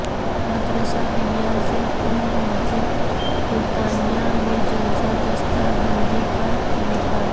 مدرسہ ریاض العلوم مسجد فرقانیہ میں جلسہ دستار بندی کا انعقاد